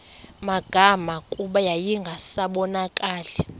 magama kuba yayingasabonakali